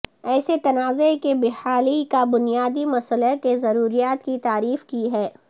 ایسے تنازعہ کی بحالی کا بنیادی مسئلہ کی ضروریات کی تعریف کی ہے